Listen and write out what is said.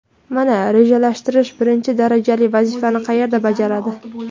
Mana, rejalashtirish birinchi darajali vazifani qayerda bajaradi.